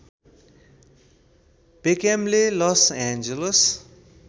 बेक्ह्यामले Los Angeles